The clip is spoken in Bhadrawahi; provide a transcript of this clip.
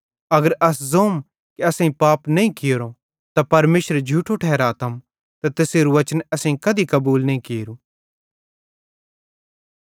अगर अस ज़ोम कि असेईं पाप नईं कियोरो त परमेशरे झूठो ठहरातम ते तैसेरू वचन असेईं कधी कबूल नईं कियोरू